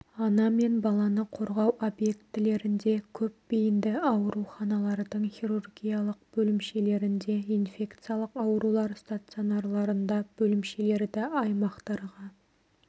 ана мен баланы қорғау объектілерінде көп бейінді ауруханалардың хирургиялық бөлімшелерінде инфекциялық аурулар стационарларында бөлімшелерді аймақтарға